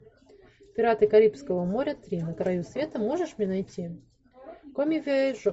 пираты карибского моря три на краю света можешь мне найти